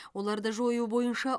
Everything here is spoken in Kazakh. оларды жою бойынша